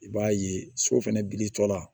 I b'a ye so fɛnɛ biri tɔ la